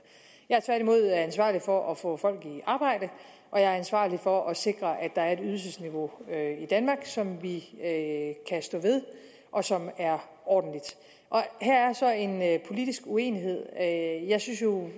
jeg er tværtimod ansvarlig for at få folk i arbejde og jeg er ansvarlig for at sikre at der er et ydelsesniveau i danmark som vi kan stå ved og som er ordentligt her er så en politisk uenighed jeg synes jo